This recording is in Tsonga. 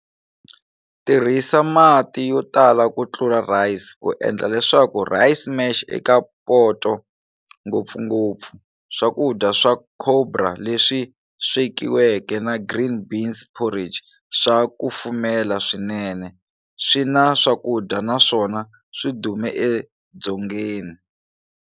Tirhisa mati yotala kutlula rice ku endla leswaku rice mash eka poto. Ngopfungopfu, swakudya swa cobra leswi swekiweke na green beans porridge swa kufumela swinene, swina swakudya naswona swidume e Dzongeni.